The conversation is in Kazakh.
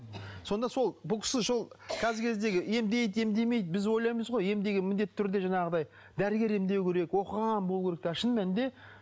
сонда сол бұл кісі сол қазіргі кездегі емдейді емдемейді біз ойлаймыз ғой ем деген міндетті түрде жаңағыдай дәрігер емдеу керек оқыған болу керек ал шын мәнінде